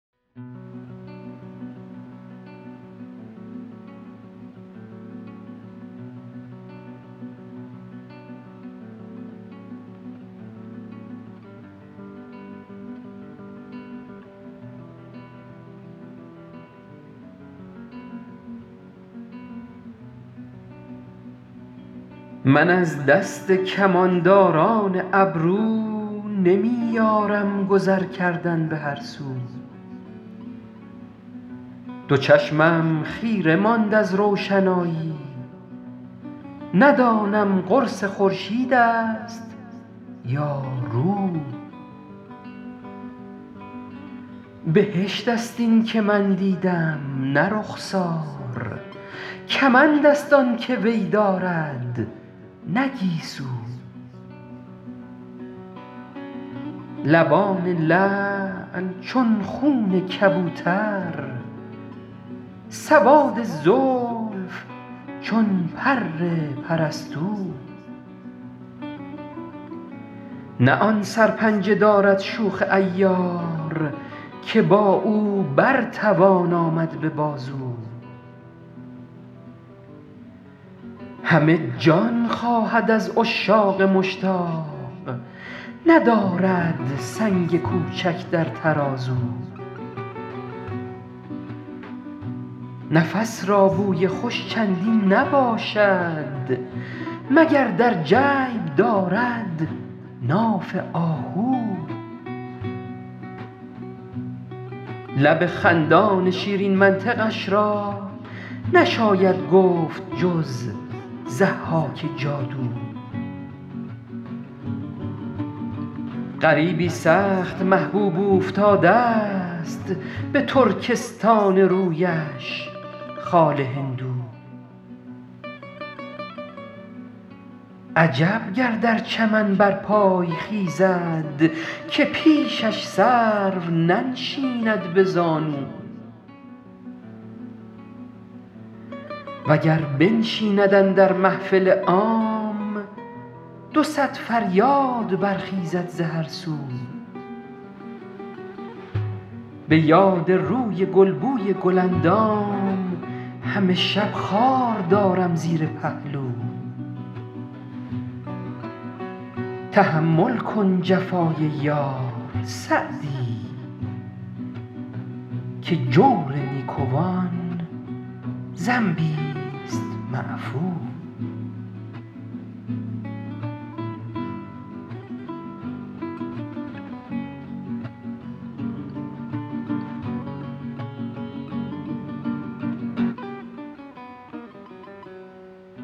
من از دست کمانداران ابرو نمی یارم گذر کردن به هر سو دو چشمم خیره ماند از روشنایی ندانم قرص خورشید است یا رو بهشت است این که من دیدم نه رخسار کمند است آن که وی دارد نه گیسو لبان لعل چون خون کبوتر سواد زلف چون پر پرستو نه آن سرپنجه دارد شوخ عیار که با او بر توان آمد به بازو همه جان خواهد از عشاق مشتاق ندارد سنگ کوچک در ترازو نفس را بوی خوش چندین نباشد مگر در جیب دارد ناف آهو لب خندان شیرین منطقش را نشاید گفت جز ضحاک جادو غریبی سخت محبوب اوفتاده ست به ترکستان رویش خال هندو عجب گر در چمن برپای خیزد که پیشش سرو ننشیند به زانو و گر بنشیند اندر محفل عام دو صد فریاد برخیزد ز هر سو به یاد روی گل بوی گل اندام همه شب خار دارم زیر پهلو تحمل کن جفای یار سعدی که جور نیکوان ذنبیست معفو